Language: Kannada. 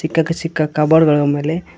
ಕ್ಕ ಸಿಕ್ಕ ಕಪಬೋರ್ಡ್ ಗಳ ಮೇಲೆ --